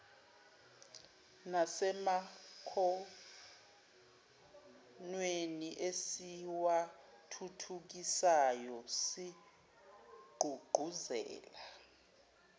nasemakhonweni esiwathuthukisayo sigqugquzela